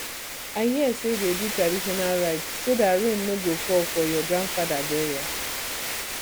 i hear say dey do traditional rites so dat rain no go fall for your grandfather burial